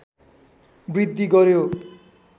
वृद्धि गर्‍यो